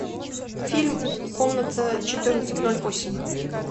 фильм комната четырнадцать ноль восемь